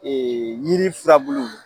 yiri firabulu.